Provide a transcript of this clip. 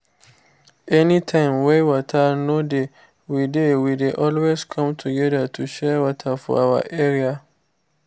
any time wey water no dey we dey we dey always come together to share water for our area